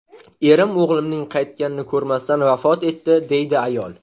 Erim o‘g‘limning qaytganini ko‘rmasdan vafot etdi”, deydi ayol.